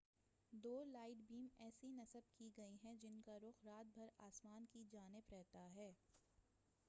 دو light beam ایسی نصب کی گئی ہیں جن کا رخ رات بھر آسمان کی جانب رہتا ہے